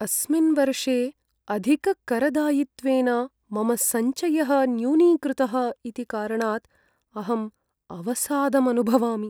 अस्मिन् वर्षे अधिककरदायित्वेन मम सञ्चयः न्यूनीकृतः इति कारणात् अहम् अवसादम् अनुभवामि।